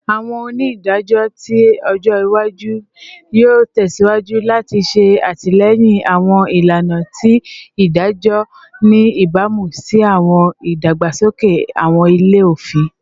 Awọn onidajọ ti ojo iwaju yoo tẹsiwaju lati ṣe atilẹyin awọn ilana ti idajọ, ni ibamu si awọn idagbasoke awọn ilẹ-ofin